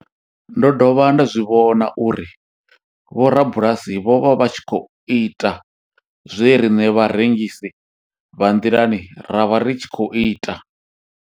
Ndo dovha nda zwi vhona uri vhorabulasi vho vha vha tshi khou ita zwe riṋe vharengisi vha nḓilani ra vha ri tshi khou ita.